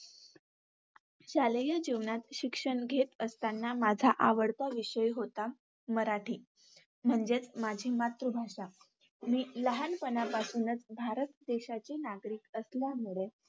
होते. शालेय जीवनात शिक्षण घेत असताना माझा आवडता विषय होता, मराठी. म्हणजेच माझी मातृभाषा. मी लहानपणापासूनच भारत देशाचे नागरिक असल्यामुळे